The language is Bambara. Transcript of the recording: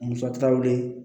Musakaw wele